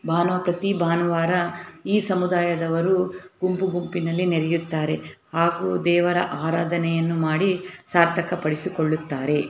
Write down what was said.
ಇದು ಒಂದು ಕ್ರಿಶ್ಚಿಯನ್ ಸಮುದಾಯ ದವರ ಚರ್ಚ್ ಅಥವಾ ಅದಕ್ಕೆ ಸಂಬಂಧ ಪಟ್ಟಂತಹ ಕಟ್ಟಡ ವಾಗಿದೆ. ಒಳಗಡೆ ಪ್ರೇಯರ್ ಮಾಡುವುದರೆಂದು ಭಾನುವಾರ ಈ ಸಮುದಾಯ ದವರು. ಗುಂಪು ಗುಂಪು ನಲ್ಲಿ ನೆರೆಳುತ್ತಾರೆ ಹಾಗು ದೇವರ ಆರಾಧನೆ ಯನ್ನು ಮಾಡಿ ಸಾರ್ಥಕ ಪಡಿಸುಕೊಳ್ಳುತ್ತಾರೆ.